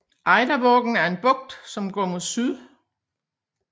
Eidavågen er en bugt som går mod syd